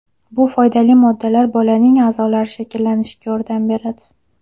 Bu foydali moddalar bolaning a’zolari shakllanishiga yordam beradi.